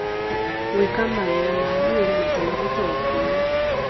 Gwĩka Mawĩra ma mwĩrĩ maita matatũ o kiumia